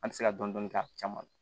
An tɛ se ka dɔn dɔni k'a caman na